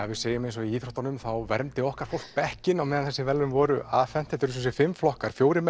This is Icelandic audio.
segjum eins og í íþróttunum að þá vermdi okkar fólk bekkinn á meðan þau voru afhend þetta eru semsagt fimm flokkar fjórum